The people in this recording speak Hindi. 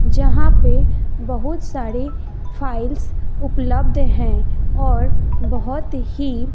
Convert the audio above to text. जहां पे बहुत सारे फाइल्स उपलब्ध हैं और बहोत ही--